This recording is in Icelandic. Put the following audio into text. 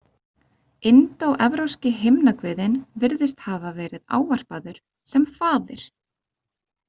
Indóevrópski himnaguðinn virðist hafa verið ávarpaður sem faðir.